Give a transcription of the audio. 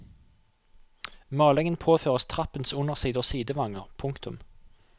Malingen påføres trappens underside og sidevanger. punktum